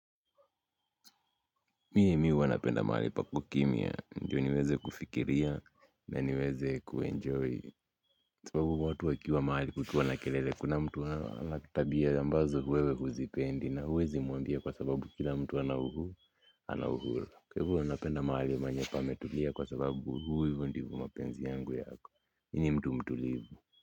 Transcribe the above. Mimi huwa napenda mahali pako kimya ndyo niweze kufikiria na niweze kuenjoy kwa sababu watu wakiwa mahali kukiwa na kelele kuna mtu wa kitabia ambazo wewe huzipendi na huwezi muambia kwa sababu kila mtu ana uhuru kwa hivyo napenda mahali penye pametulia kwa sababu huu hivyo ndivyo mapenzi yangu yako mimi nimtu mtulivu.